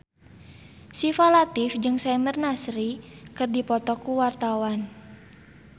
Syifa Latief jeung Samir Nasri keur dipoto ku wartawan